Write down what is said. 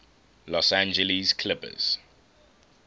los angeles clippers